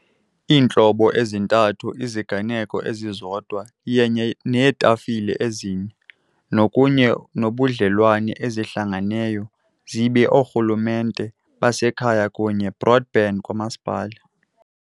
iintlobo ezintathu iziganeko ezizodwa yenye neetafile ezine kunye nobudlelwane ezihlangeneyo zibe oorhulumente basekhaya kunye broadband kamasipala.